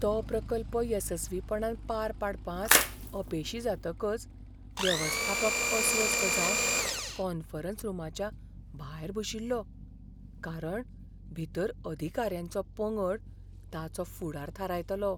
तो प्रकल्प येसस्वीपणान पार पाडपांत अपेशी जातकच वेवस्थापक अस्वस्थ जावन कॉन्फरन्स रूमाच्या भायर बशिल्लो. कारण भितर अधिकाऱ्यांचो पंगड ताचो फुडार थारायतालो.